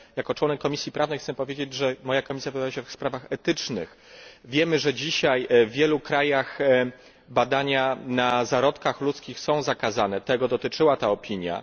Ale jako członek Komisji Prawnej chcę powiedzieć, że moja komisja wypowiada się w sprawach etycznych, a wiemy, że dzisiaj w wielu krajach badania na zarodkach ludzkich są zakazane, tego dotyczyła ta opinia.